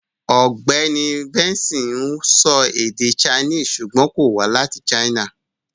Ọ̀gbẹ́ni Benson ń sọ èdè Chinese ṣùgbọ́n kò wá láti China.